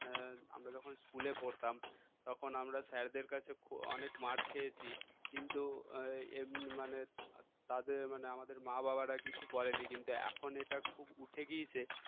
আমরা যখন school এ পড়তাম তখন আমরা sir দের কাছে অনেক মার খেয়েছি মার খেয়েছি কিন্তু এমনি মানে তাদের মানে আমাদের মা-বাবারা কিছু বলেনি কিন্তু এখন এটা খুব উঠে গিয়েছে